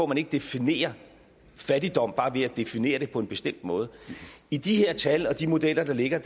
man ikke definerer fattigdom bare ved at definere den på en bestemt måde i de tal og i de modeller der ligger